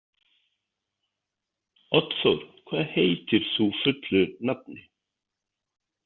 Oddþór, hvað heitir þú fullu nafni?